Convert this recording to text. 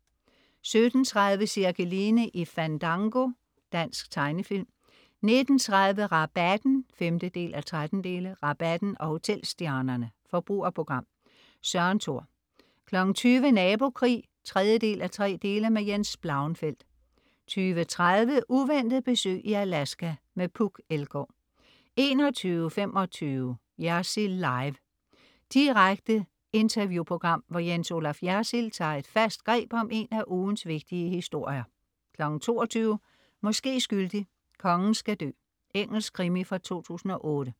17.30 Cirkeline i Fandango. Dansk tegnefilm 19.30 Rabatten 5:13. Rabatten og hotelstjernerne. Forbrugerprogram. Søren Thor 20.00 Nabokrig 3:3. Jens Blauenfeldt 20.30 Uventet besøg i Alaska. Puk Elgaard 21.25 Jersild Live. Direkte interview-program, hvor Jens Olaf Jersild tager et fast greb om en af ugens vigtige historier 22.00 Måske skyldig, kongen skal dø. Engelsk krimi fra 2008